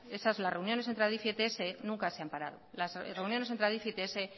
las reuniones entre adif y ets nunca se han parado las reuniones entre adif y ets